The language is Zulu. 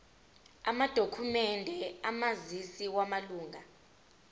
amadokhumende omazisi wamalunga